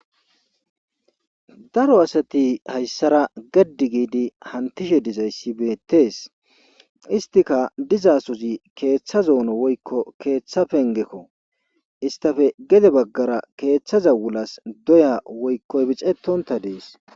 Daro asati hayssara geddi hantishshe dizayssi beettees istika diza sozi keeththa zoono woykko keeththa pengekko istafe gede baggara keeththaza wulas doya woykko ibixettonta dees